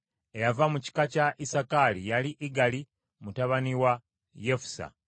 Eyava mu kika kya Isakaali yali Igali mutabani wa Yusufu.